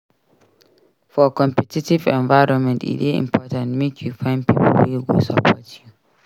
For competitive environment e dey important make you find pipo wey go support you.